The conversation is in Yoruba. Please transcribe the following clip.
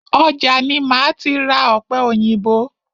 Ọjà ni máa ti ra ọ̀pẹ òyìnbó.